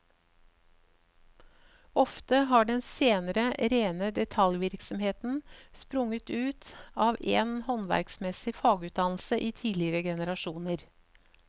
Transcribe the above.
Ofte har den senere rene detaljvirksomheten sprunget ut av en håndverksmessig fagutdannelse i tidligere generasjoner.